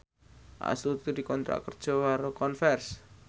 Astuti dikontrak kerja karo Converse